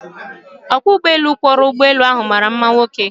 Ọkwọụgbọala kwọrọ ụgbọelu ahụ mara mma nwoke.